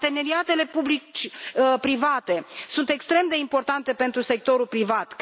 Parteneriatele public privat sunt extrem de importante pentru sectorul privat.